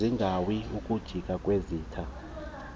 zigeawu ukujiya kwezinta